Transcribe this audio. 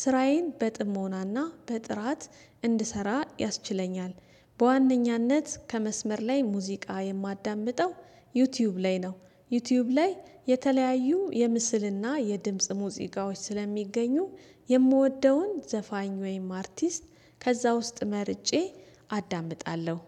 ስራዬን በጥሞናና በጥራት እንድሰራ ያስችለኛል። በዋነኛነት ከመስመር ላይ ሙዚቃ የማዳምጠው ዩቲዩብ ላይ ነው። ዩቲዩብ ላይ የተለያዩ የምስልና የድምጽ ሙዚቃዎች ስለሚገኙ የምወደውን ዘፋኝ ወይም አርቲስት ከዛ ውስጥ መርጬ አዳምጣለሁ።